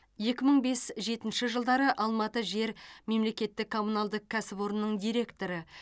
екі мың бес жетінші жылдары алматы жер мемлекеттік коммуналдық кәсіпорнының директоры